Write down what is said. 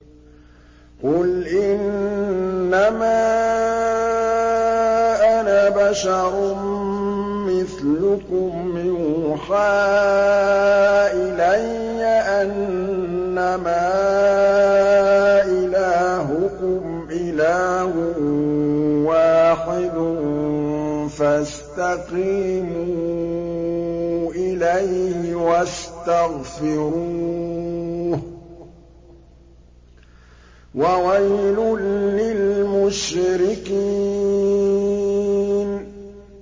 قُلْ إِنَّمَا أَنَا بَشَرٌ مِّثْلُكُمْ يُوحَىٰ إِلَيَّ أَنَّمَا إِلَٰهُكُمْ إِلَٰهٌ وَاحِدٌ فَاسْتَقِيمُوا إِلَيْهِ وَاسْتَغْفِرُوهُ ۗ وَوَيْلٌ لِّلْمُشْرِكِينَ